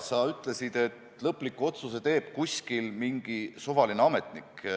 Sa ütlesid, et lõpliku otsuse teeb kuskil mingi suvaline ametnik.